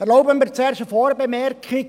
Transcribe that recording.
Erlauben Sie mir zuerst eine Vorbemerkung.